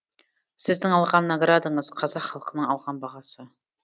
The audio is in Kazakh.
сіздің алған наградаңыз қазақ халқының алған бағасы